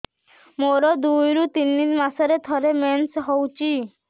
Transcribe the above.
ମୋର ଦୁଇରୁ ତିନି ମାସରେ ଥରେ ମେନ୍ସ ହଉଚି